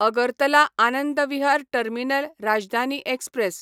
Agartala Anand Vihar terminal Rajdhani express